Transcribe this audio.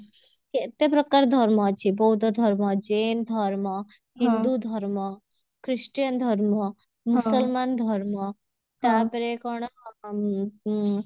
କେତେ ପ୍ରକାର ଧର୍ମ ଅଛି ବୌଦ୍ଧ ଧର୍ମ ଜୈନ ଧର୍ମ ହିନ୍ଦୁ ଧର୍ମ ଖ୍ରୀଷ୍ଟିୟାନ ଧର୍ମ ମୁସଲମାନ ଧର୍ମ ତାପରେ କଣ ଉଁ ଉଁ